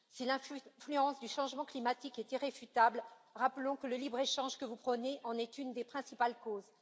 Si l'influence du changement climatique est irréfutable, rappelons que le libre échange que vous prônez en est une des principales causes.